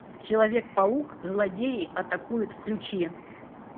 человек паук злодеи атакуют включи